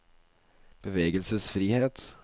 bevegelsesfrihet